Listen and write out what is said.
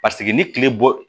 Paseke ni kile bɔ